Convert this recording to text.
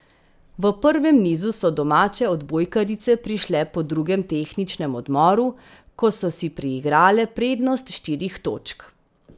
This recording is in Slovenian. V prvem nizu so domače odbojkarice prišle po drugem tehničnem odmoru, ko so si priigrale prednost štirih točk.